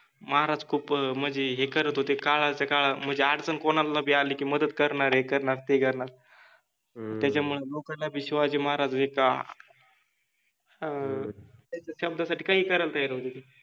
महाराज खुप मनजे हे करत होते काळाच काळ मनजे अडचन कोनाला बि आलि कि मदत करनार, हे करनार, ते करनार. ह्म त्याच्यामुळेलोकाना बि शिवाजि महाराज हे का, अन्, त्यांच्या शब्दासाठि काहिहि करायला तयार होते ते